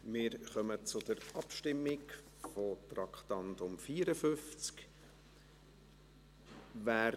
Wir kommen zur Abstimmung zum Traktandum 54.